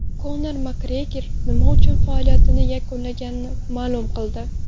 Konor Makgregor nima uchun faoliyatini yakunlaganini ma’lum qildi.